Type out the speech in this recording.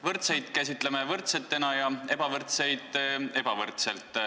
Võrdseid käsitleme võrdselt ja ebavõrdseid ebavõrdselt.